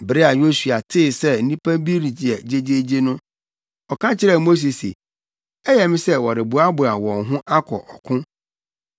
Bere a Yosua tee sɛ nnipa bi reyɛ gyegyeegye no, ɔka kyerɛɛ Mose se, “Ɛyɛ me sɛ wɔreboaboa wɔn ho akɔ ɔko!”